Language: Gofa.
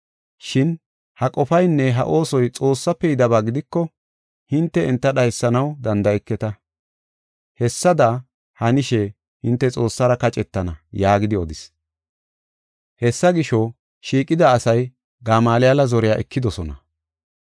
Shin ha qofaynne ha oosoy Xoossafe yidaba gidiko, hinte enta dhaysanaw danda7eketa. Hessada hanishe hinte Xoossara kaccetana” yaagidi odis. Hessa gisho, shiiqida asay Gamaaliyale zoriya ekidosona.